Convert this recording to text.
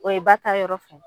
O ye ba taa yɔrɔ fɛ.